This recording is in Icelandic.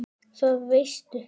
Það veistu